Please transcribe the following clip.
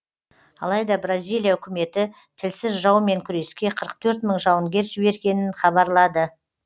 алайда бразилия үкіметі тілсіз жаумен күреске қырық төрт мың жауынгер жібергенін хабарлады